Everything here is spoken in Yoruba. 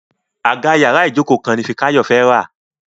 Àga yàrá Ijoko kan ní Fikayo fè rá.: